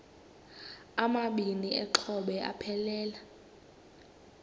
amabini exhobe aphelela